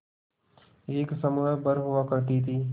एक समूह भर हुआ करती थी